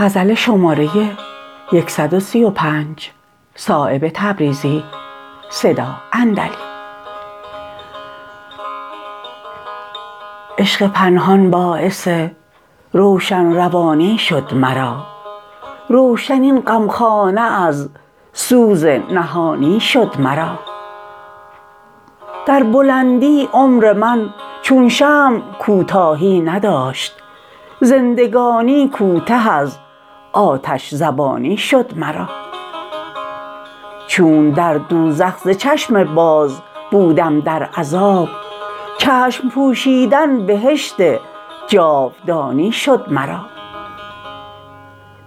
عشق پنهان باعث روشن روانی شد مرا روشن این غمخانه از سوز نهانی شد مرا در بلندی عمر من چون شمع کوتاهی نداشت زندگانی کوته از آتش زبانی شد مرا چون در دوزخ ز چشم باز بودم در عذاب چشم پوشیدن بهشت جاودانی شد مرا